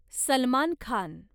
Salman Khan